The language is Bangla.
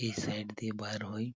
এই সাইড দিয়ে বার হই।